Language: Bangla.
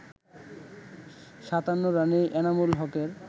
৫৭ রানেই এনামুল হকের